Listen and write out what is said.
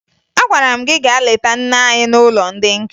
Agwara m gị gaa leta nne anyi n'ụlọ ndị nka!